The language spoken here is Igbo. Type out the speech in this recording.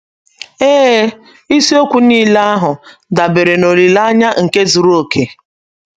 Ee ,ịsiokwu niile ahụ, dabere n'olileanya nke zụrụ oke.